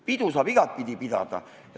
Pidu saab igatepidi pidada.